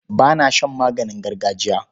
Ba na shan maganin gargajiya.